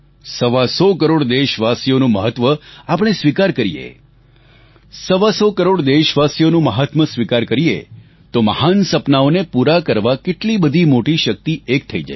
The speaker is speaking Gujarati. સવા સો કરોડ દેશવાસીઓનું મહત્વ આપણે સ્વિકાર કરીએ સવા સો કરોડ દેશવાસીઓનું મહાત્મ્ય સ્વિકાર કરીએ તો મહાન સપનાઓને પૂરા કરવા કેટલી બધી મોટી શક્તિ એક થઈ જશે